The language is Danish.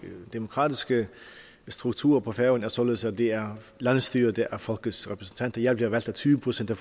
demokratiske strukturer på færøerne er således at det er landsstyret der er folkets repræsentant jeg blev valgt af tyve procent af